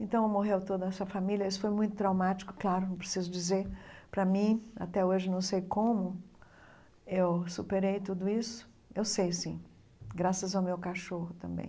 Então morreu toda essa família, isso foi muito traumático, claro, não preciso dizer, para mim até hoje não sei como eu superei tudo isso, eu sei sim, graças ao meu cachorro também.